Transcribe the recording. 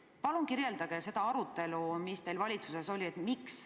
Palun kirjeldage seda arutelu, mis teil valitsuses oli!